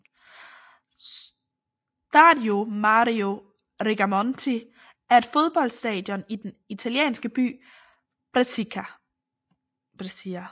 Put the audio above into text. Stadio Mario Rigamonti er et fodboldstadion i den italienske by Brescia